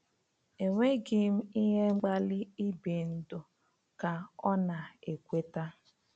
“Enweghị m ihe mkpali ibi ndụ,” ka ọ na-ekweta.